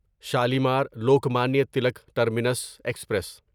Shalimar Lokmanya Tilak terminus express